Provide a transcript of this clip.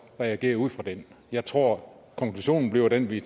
reagere ud fra den jeg tror at konklusionen bliver den vi